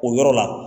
O yɔrɔ la